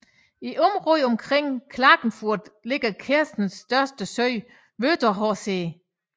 I området omkring Klagenfurt ligger Kärntens største sø Wörthersee